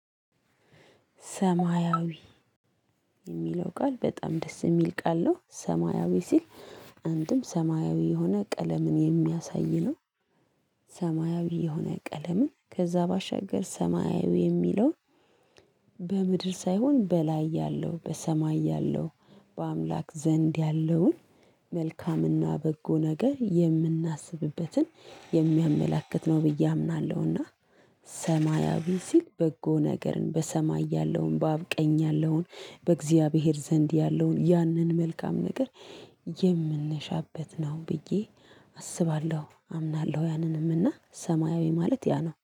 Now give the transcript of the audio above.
ሰማያዊ የሚለው ቃል በጣም ደስ የሚል ቃል ነው ሰማያዊ ሲል አንድም ሰማያዊ የሆነ ቀለምን የሚያሳይ ነው። ሰማያዊ የሆነ ቀለምን ከዛ ባሻገር ሰማያዊ የሚለውን በምድር ሳይሆን በላይ ያለው በሰማይ ያለው በአምላክ ዘንድ ያለውን መልካምና በጎ ነገር የምናስብበትን የሚያመላክት ነው ብዬ አምናለሁና። ሰማያዊ ሲል በጎ ነገርን በሰማይ ያለውን በአብ ቀኝ ያለውን በእግዚአብሔር ዘንድ ያለውን ያንን መልካም ነገር። የምንሻበት ነው ብዬ አስባለሁ አምናለሁ ያንንም እና ሰማያዊ ማለት ያ ነው